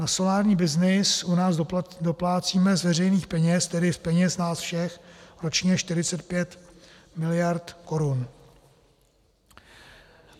Na solární byznys u nás doplácíme z veřejných peněz, tedy z peněz nás všech, ročně 45 miliard korun.